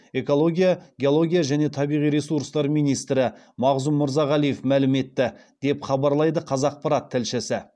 экология геология және табиғи ресурстар министрі мағзұм мырзағалиев мәлім етті деп хабарлайды қазақпарат тілшісі